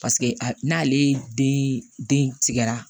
Paseke a n'ale den tigɛra